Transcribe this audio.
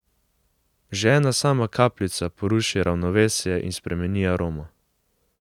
Že ena sama kapljica poruši ravnovesje in spremeni aromo.